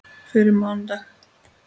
Fyrir mánudag?